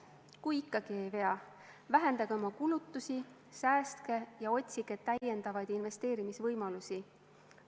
Kui ikkagi ei vea, vähendage oma kulutusi, säästke ja otsige täiendavaid investeerimisvõimalusi.